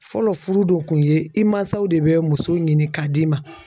Fɔlɔ furu dun kun ye i mansaw de bɛ muso ɲini k'a d'i ma.